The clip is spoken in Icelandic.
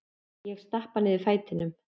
Ég stappa niður fætinum.